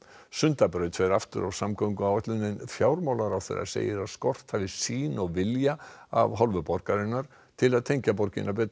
Sundabraut fer aftur á samgönguáætlun en fjármálaráðherra segir að skort hafi sýn og vilja af hálfu borgarinnar til að tengja borgina betur